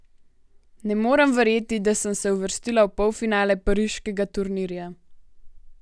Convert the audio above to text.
Ne morem verjeti, da sem se uvrstila v polfinale pariškega turnirja.